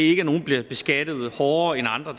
ikke at nogle bliver beskattet hårdere end andre